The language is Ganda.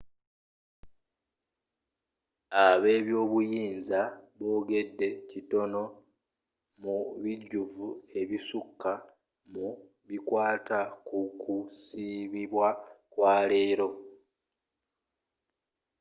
abebyobuyinza bogedde kitono mu bujjuvu ebisuka mu bikwata ku kusibibwa kwa leero